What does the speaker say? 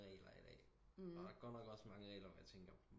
Regler i dag og der er godt nok også mange regler hvor jeg tænker